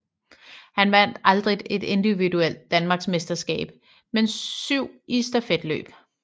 Han vandt aldrig et individuelt Danmarks mesterskab men syv i stafetløb